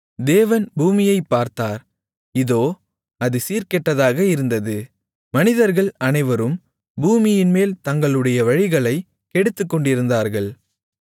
தேவன் பூமியைப் பார்த்தார் இதோ அது சீர்கெட்டதாக இருந்தது மனிதர்கள் அனைவரும் பூமியின்மேல் தங்களுடைய வழிகளைக் கெடுத்துக்கொண்டிருந்தார்கள்